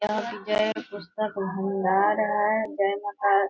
यह विजय पुस्तक भंडार है | जय माता --.